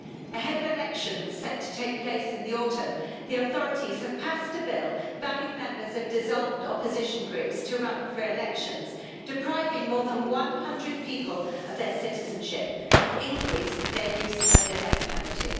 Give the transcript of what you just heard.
Ahead of elections set to take place in the autumn, the authorities have passed a bill banning members of dissolved opposition groups from running for elections depriving more than one hundred people of their citizenship, and increased their use of the death penalty.